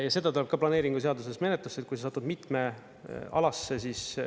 Ja see tuleb ka planeeringuseaduses menetlusse, et kui sa satud mitme alasse, siis …